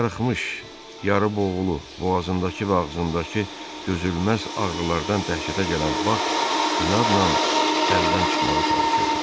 Çarxırmış, yarı boğulu, boğazındakı və ağzındakı dözülməz ağrılardan dəhşətə gələn Bak inadnan əldən çıxmağa çalışırdı.